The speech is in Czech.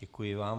Děkuji vám.